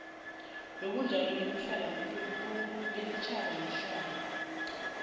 yobunjalo besitjhaba nehlalo